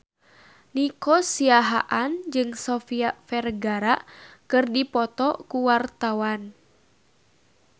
Nico Siahaan jeung Sofia Vergara keur dipoto ku wartawan